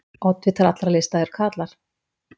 Oddvitar allra lista eru karlar.